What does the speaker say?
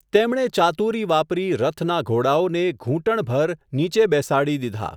તેમણે ચાતુરી વાપરી, રથના ઘોડાઓને ધૂંટણભર નીચે બેસાડી દીધા.